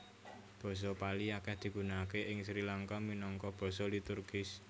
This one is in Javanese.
Basa Pali akèh digunakaké ing Sri Langka minangka basa liturgis